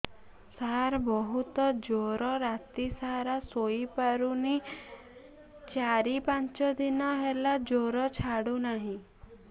ସାର ବହୁତ ଜର ରାତି ସାରା ଶୋଇପାରୁନି ଚାରି ପାଞ୍ଚ ଦିନ ହେଲା ଜର ଛାଡ଼ୁ ନାହିଁ